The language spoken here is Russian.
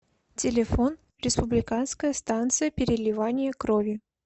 телефон республиканская станция переливания крови